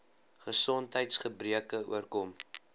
gesondheids gebreke oorkom